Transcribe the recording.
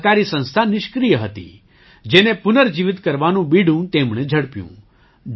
આ સહકારી સંસ્થા નિષ્ક્રિય હતી જેને પુનર્જીવિત કરવાનું બીડું તેમણે ઝડપ્યું